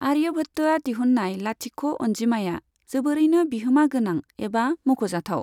आर्यभत्त'आ दिहुन्नाय लाथिख' अन्जिमाया जोबोरैनो बिहोमा गोनां एबा मख'जाथाव।